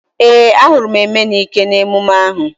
Ee, a hụrụ m Emenike n'emume ahu